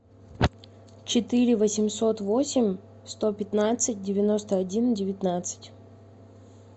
четыре восемьсот восемь сто пятнадцать девяносто один девятнадцать